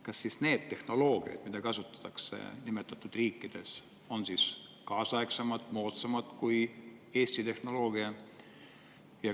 Kas siis need tehnoloogiad, mida kasutatakse nimetatud riikides, on kaasaegsemad, moodsamad kui Eesti tehnoloogia?